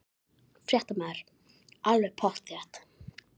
Fréttamaður: Alveg pottþétt?